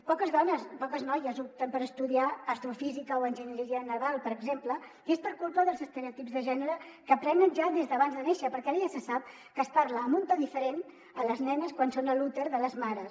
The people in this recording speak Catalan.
poques dones poques noies opten per estudiar astrofísica o enginyeria naval per exemple i és per culpa dels es·tereotips de gènere que aprenen ja des d’abans de néixer perquè ara ja se sap que es parla amb un to diferent a les nenes quan són a l’úter de les mares